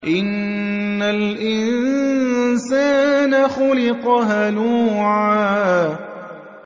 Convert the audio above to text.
۞ إِنَّ الْإِنسَانَ خُلِقَ هَلُوعًا